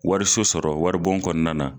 Wariso sɔrɔ waribon kɔnɔna na.